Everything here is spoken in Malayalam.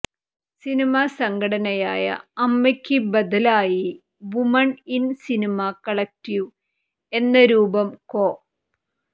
സിനിമ സംഘടനയായ അമ്മയ്ക്ക് ബദലായി വുമൺ ഇൻ സിനിമ കളക്ടീവ് എന്ന രൂപം കൊ